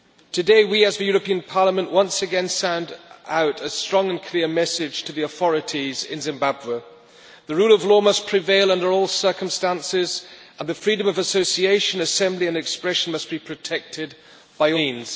Today, we as the European Parliament once again send out a strong and clear message to the authorities in Zimbabwe. The rule of law must prevail under all circumstances and the freedom of association, assembly and expression must be protected by all means.